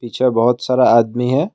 पीछे बहुत सारा आदमी है।